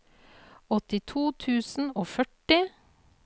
åttito tusen og førti